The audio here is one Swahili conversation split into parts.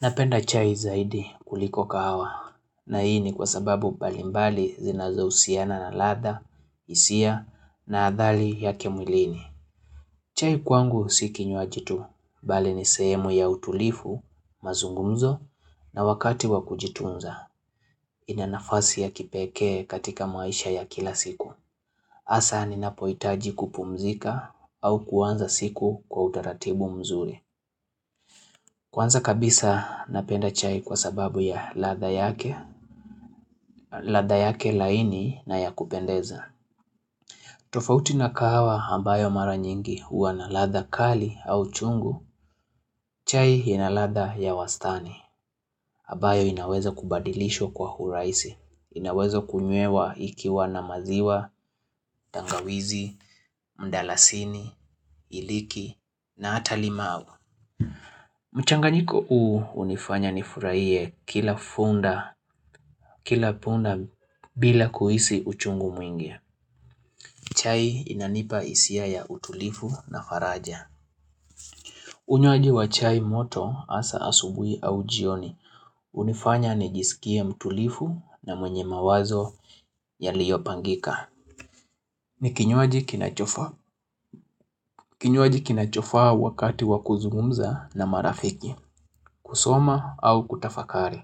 Napenda chai zaidi kuliko kahawa, na hii ni kwa sababu mbalimbali zinazo usiana na ladha, hisia, na adhali yake mwilini. Chai kwangu si kinywaji tu, bali ni sehemu ya utulifu, mazungumzo, na wakati wa kujitunza, inanafasi ya kipekee katika maisha ya kila siku. Hasa ni napoitaji kupumzika au kuanza siku kwa utaratibu mzuri. Kwanza kabisa napenda chai kwa sababu ya ladha yake, ladha yake laini na ya kupendeza. Tofauti na kahawa ambayo mara nyingi uwanaladha kali au chungu, chai inaladha ya wastani. Ambayo inaweza kubadilishwa kwa huraisi, inaweza kumyewa ikiwa na maziwa, tangawizi, mdalasini, iliki, na hata limau. Mchanganyiko uu unifanya nifurahiye kila funda bila kuhisi uchungu mwingi chai inanipa hisiya ya utulifu na faraja Unywaji wa chai moto hasa asubuhu au jioni unifanya nijisikie mtuli u na mwenye mawazo yaliopangika ni kinywaji kinachofaa Kinywaji kinachofaa wakati wakuzungumza na marafiki kusoma au kutafakari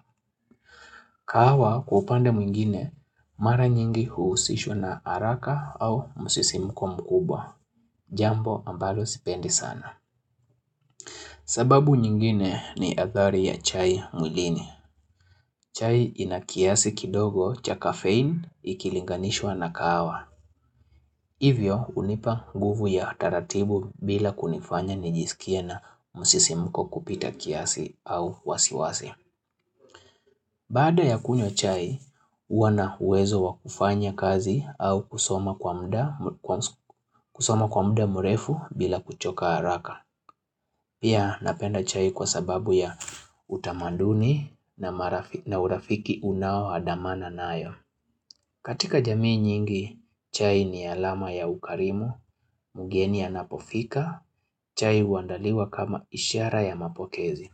kahawa kwa kupande mwingine mara nyingi huusishwa na haraka au musisimuko mkubwa. Jambo ambalo sipendi sana. Sababu nyingine ni adhari ya chai mwilini. Chai inakiasi kidogo cha kafein ikilinganishwa na kahawa. Hivyo unipa nguvu ya taratibu bila kunifanya nijisikie na musisimuko kupita kiasi au wasiwasi. Bada ya kunywa chai, huwa na uwezo wakufanya kazi au kusoma kwa muda mrefu bila kuchoka haraka. Pia napenda chai kwa sababu ya utamaduni na urafiki unao hadamana nayo. Katika jamii nyingi, chai ni alama ya ukarimu, mgeni anapofika, chai uandaliwa kama ishara ya mapokezi.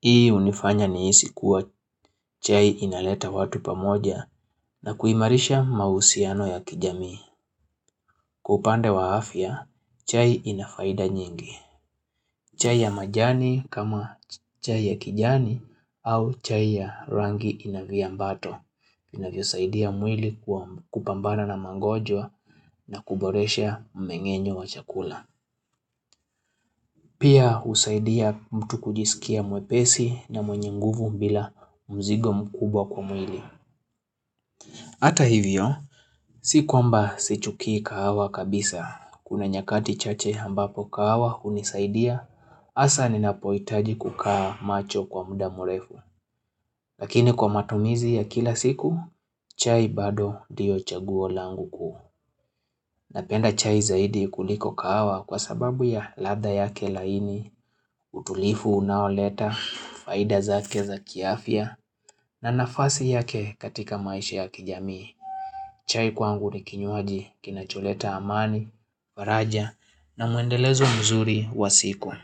Hii unifanya niisi kuwa chai inaleta watu pamoja na kuimarisha mausiano ya kijamii. Kwa upande wa afya, chai inafaida nyingi. Chai ya majani kama chai ya kijani au chai ya rangi inavya mbato. Inavyo saidia mwili kupambana na mangojwa na kuboresha mmengenyo wa chakula Pia husaidia mtu kujisikia mwepesi na mwenye nguvu bila mzigo mkubwa kwa mwili Ata hivyo, sikuamba si chukii kahawa kabisa Kuna nyakati chache ambapo kahawa unisaidia hasa ninahipoitaji kukaa macho kwa muda mwrefu Lakini kwa matumizi ya kila siku, chai bado ndio chaguo langu kuu Napenda chai zaidi kuliko kahawa kwa sababu ya ladha yake laini, utulivu unaoleta, faida zake za kiafya na nafasi yake katika maisha ya kijamii. Chai kwangu ni kinywaji kinacholeta amani, faraja na muendelezo mzuri wa siku.